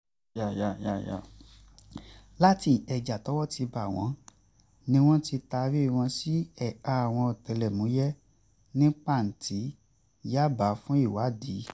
láti ìkẹjà tọ́wọ́ ti bá wọn ni wọ́n ti taari wọn sí ẹ̀ka àwọn ọ̀tẹlẹ̀múyẹ́ ní pàǹtí yábà fún ìwádìí